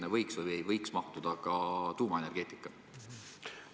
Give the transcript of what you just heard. Ja kas sinna võiks mahtuda ka tuumaenergeetika?